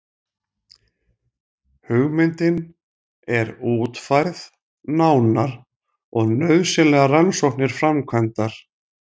Hugmyndin er útfærð nánar og nauðsynlegar rannsóknir framkvæmdar.